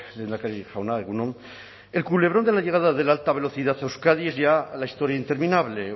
lehendakari jauna egun on el culebrón de la llegada de la alta velocidad a euskadi es ya la historia interminable